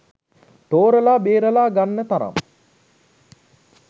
තෝරලා බේරලා ගන්න තරම්